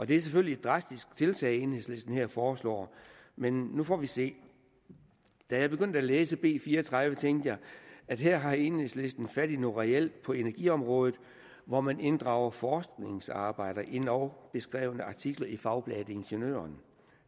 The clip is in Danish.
det er selvfølgelig et drastisk tiltag enhedslisten her foreslår men nu får vi se da jeg begyndte at læse b fire og tredive tænkte jeg at her havde enhedslisten fat i noget reelt på energiområdet for man inddrager forskningsarbejder og endog beskrevne artikler i fagbladet ingeniøren